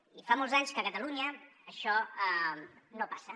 i fa molts anys que a catalunya això no passa